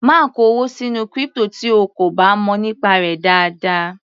Má kó owó sínú crypto tí o kò bá mọ̀ nípa rẹ̀ dáadáa.